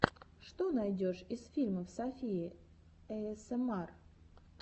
что найдешь из фильмов софии эйэсэмар